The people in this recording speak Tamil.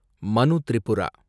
மனு திரிபுரா